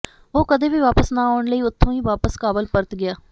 ਉਹ ਕਦੇ ਵੀ ਵਾਪਸ ਨਾ ਆਉਣ ਲਈ ਉਥੋਂ ਹੀ ਵਾਪਸ ਕਾਬਲ ਪਰਤ ਗਿਆ